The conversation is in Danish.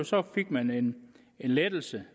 så fik man en lettelse